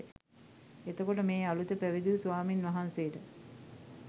එතකොට මේ අලූත පැවිදි වූ ස්වාමීන් වහන්සේට